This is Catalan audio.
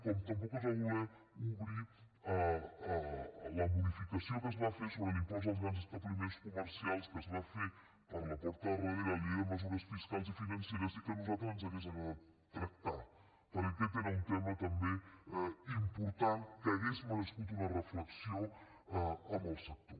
com tampoc es va voler obrir la modificació que es va fer sobre l’impost als grans establiments comercials que es va fer per la porta de darrere a la llei de mesures fiscals i financeres i que a nosaltres ens hauria agradat tractar perquè aquest era un tema també important que hauria merescut una reflexió amb el sector